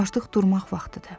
Artıq durmaq vaxtıdır.